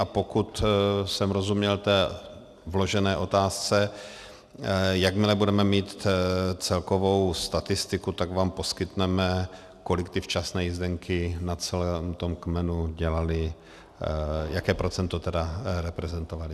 A pokud jsem rozuměl té vložené otázce - jakmile budeme mít celkovou statistiku, tak vám poskytneme, kolik ty včasné jízdenky na celém tom kmenu dělaly, jaké procento tedy reprezentovaly.